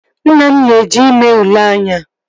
Nna m na-eje ime ule anya